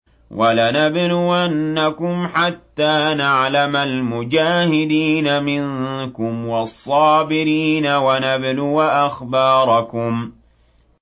وَلَنَبْلُوَنَّكُمْ حَتَّىٰ نَعْلَمَ الْمُجَاهِدِينَ مِنكُمْ وَالصَّابِرِينَ وَنَبْلُوَ أَخْبَارَكُمْ